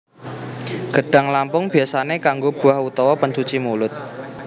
Gedhang lampung biasane kanggo buah utawa pencuci mulut